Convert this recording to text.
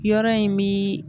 Yɔrɔ in bi